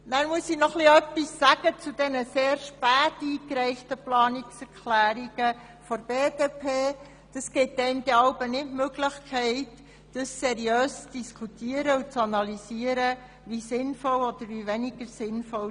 Vorweg eine grundsätzliche Bemerkung zu den sehr spät eingereichten Planungserklärungen der BDP: Das nimmt einem die Möglichkeit, sie seriös zu diskutieren und zu analysieren, wie sinnvoll sie sind.